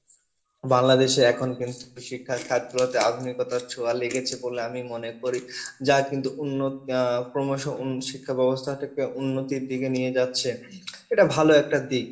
বাংলাদেশে এখন কিন্তু শিক্ষার আধুনিকতার ছোঁয়া লেগেছে বলে আমি মনে করি যা কিন্তু উন্ন আহ ক্রমশ শিক্ষা ব্যবস্থা টাকে উন্নতির দিকে নিয়ে যাচ্ছে এটা ভালো একটা দিক